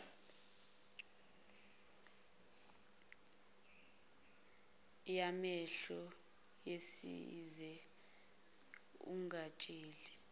yamehlo usize ungatsheli